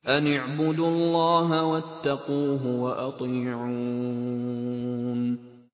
أَنِ اعْبُدُوا اللَّهَ وَاتَّقُوهُ وَأَطِيعُونِ